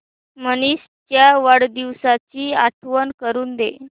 मनीष च्या वाढदिवसाची आठवण करून दे